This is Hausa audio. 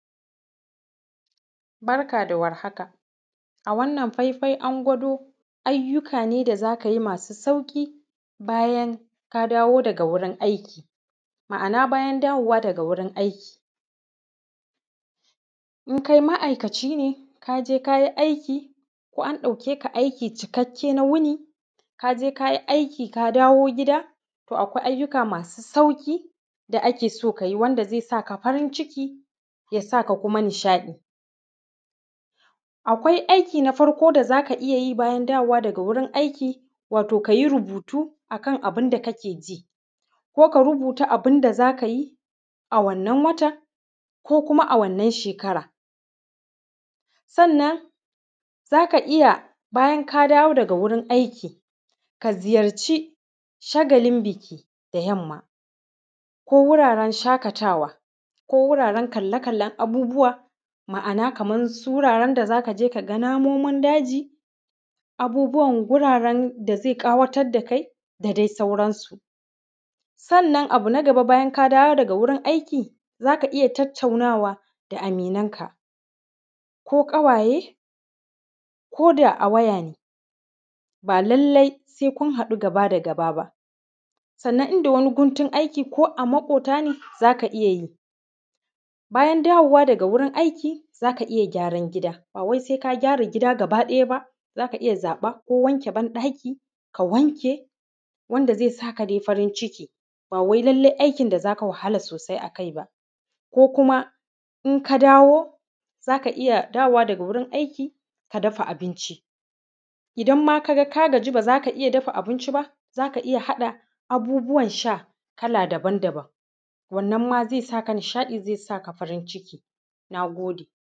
barka da warhaka a wannan faifai an gwado ayyuka ne da za ka yi masu sauƙi bayan ka dawo daga wurin aiki ma’ana bayan dawowa daga wurin aiki in kai ma’aikaci ne ka je ka yi aiki ko an dauke ka aiki cikakke na wuni ka je ka yi aiki ka dawo gida toh akwai ayyuka masu sauƙi da ake so ka yi wanda zai sa ka farin ciki ya sa ka kuma nishaɗi akwai aiki na farko da za ka iya yi bayan dawowa daga wurin aiki wato ka yi rubutu a kan abun da ka ke ji ko ka rubuta abinda za ka yi a wannan watan ko kuma a wannan shekara sannan za ka iya bayan ka dawo daga wurin aiki ka ziyarci shagalin biki da yamma ko wuraren shaƙatawa ko wuraren kalle kallen abubuwa ma’ana kaman su wuraren da za ka je ka ga su namomin daji abubuwan guraren da zai kawar da kai da dai sauransu sannan abu na gaba bayan ka dawo daga wurin aiki za ka iya tattaunawa da aminan ka ko ƙawaye ko da a waya ne ba lallai sai kun haɗu gaba da gaba ba sannan inda wani guntun aiki ko a maƙota ne za ka iya yi bayan dawowa daga wurin aiki za ka iya gyaran gida bawai sai ka gyara gida gaɓa ɗaya ba za ka iya za ɓa ko wanke banɗaki ka wanke wanda zai sa ka dai farin ciki ba wai lallai aikin da za ka wahala sosai a kai ba ko kuma in ka dawo za ka iya dawowa daga wurin aiki ka dafa abinci idan ma ka ga ka gaji ba za ka iya dafa abinci ba za ka iya haɗa abubuwan sha kala daban daban wannan ma zai iya sa ka nishaɗi zai sa ka farin ciki na gode